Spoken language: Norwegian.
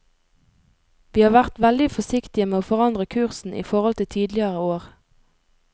Vi har vært veldig forsiktige med å forandre kursen i forhold til tidligere år.